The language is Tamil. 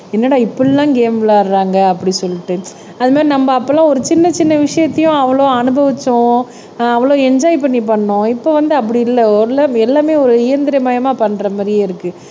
என்னடா இப்படி எல்லாம் கேம் விளையாடுறாங்க அப்படி சொல்லிட்டு அது மாதிரி நம்ம அப்ப எல்லாம் ஒரு சின்ன சின்ன விஷயத்தையும் அவ்வளவு அனுபவிச்சோம் ஆஹ் அவ்வளவு என்ஜோய் பண்ணி பண்ணோம் இப்ப வந்து அப்படி இல்ல ஓரளவுக்கு எல்லாமே ஒரு இயந்திரமயமா பண்ற மாதிரியே இருக்கு